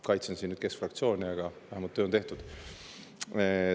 Kaitsen siin nüüd keskfraktsiooni, aga vähemalt töö on tehtud.